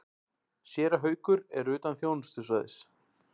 Séra Haukur er utan þjónustusvæðis.